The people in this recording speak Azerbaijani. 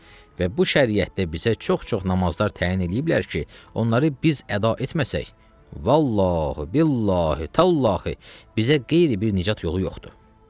Və bu şəriətdə bizə çox-çox namazlar təyin eləyiblər ki, onları biz əda etməsək, Vallahi, billahi, tallahi, bizə qeyri bir nicat yolu yoxdur.